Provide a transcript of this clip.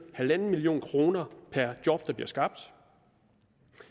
halv million kroner per job der bliver skabt